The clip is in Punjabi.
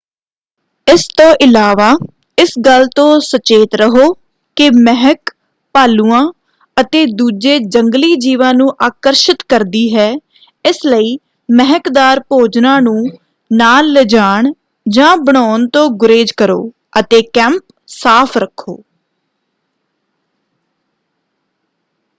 ਇਸ ਤੋਂ ਇਲਾਵਾ ਇਸ ਗੱਲ ਤੋਂ ਸਚੇਤ ਰਹੋ ਕਿ ਮਹਿਕ ਭਾਲੂਆਂ ਅਤੇ ਦੂਜੇ ਜੰਗਲੀ-ਜੀਵਾਂ ਨੂੰ ਆਕਰਸ਼ਿਤ ਕਰਦੀ ਹੈ ਇਸ ਲਈ ਮਹਿਕਦਾਰ ਭੋਜਨਾਂ ਨੂੰ ਨਾਲ ਲਿਜਾਣ ਜਾਂ ਬਣਾਉਣ ਤੋਂ ਗੁਰੇਜ ਕਰੋ ਅਤੇ ਕੈਂਪ ਸਾਫ਼ ਰੱਖੋ।